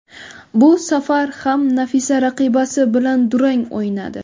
Bu safar ham Nafisa raqibasi bilan durang o‘ynadi.